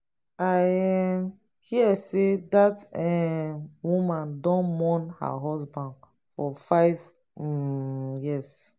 i um hear sey dat um woman don mourn her husband for five um years.